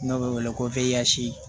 N'o bɛ wele ko feyansi